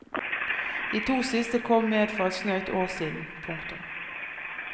De to siste kom med for et snaut år siden. punktum